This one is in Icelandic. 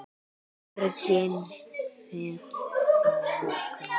Borgin féll að lokum.